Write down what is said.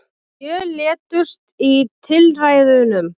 Sjö létust í tilræðunum